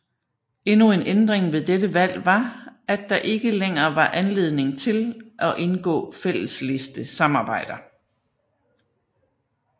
Endnu en ændring ved dette valg var at der ikke længer var anledning til og indgå fællesliste samarbejder